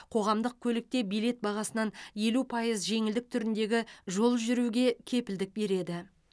қоғамдық көлікте билет бағасынан елу пайыз жеңілдік түріндегі жол жүруге кепілдік береді